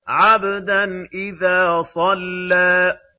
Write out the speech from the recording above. عَبْدًا إِذَا صَلَّىٰ